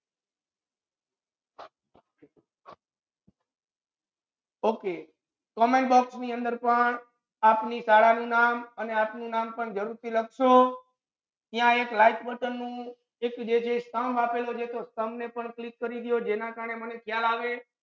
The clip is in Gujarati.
Okaycommentbox ની અંદર પણ આપની શાળા નુ નામ અને આપનુ નામ પણ જરુર થી છે લખશો ત્યા એક like button નુ એક જે છે stumb આપેલુ છે એ stumb ને પણ click કરી દ્યો જેના કરને મને ખયાલ આવે.